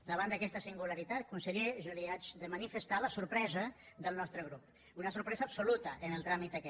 davant d’aquesta singularitat conseller jo li he de manifestar la sorpresa del nostre grup una sorpresa absoluta en el tràmit aquest